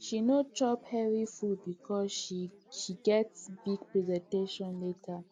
she no chop heavy food because she get big presentation later